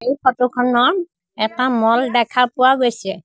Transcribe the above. এই ফটো খনত এটা ম'ল দেখা পোৱা গৈছে।